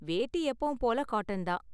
வேட்டி எப்போவும் போல காட்டன் தான்.